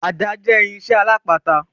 Ada jẹ́ irinsẹ́ alápatà.